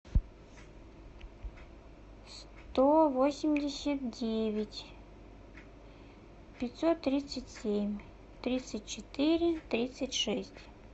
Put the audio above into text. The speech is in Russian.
сто восемьдесят девять пятьсот тридцать семь тридцать четыре тридцать шесть